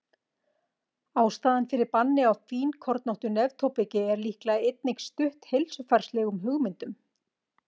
Ástæðan fyrir banni á fínkornóttu neftóbaki er líklega einnig stutt heilsufarslegum hugmyndum.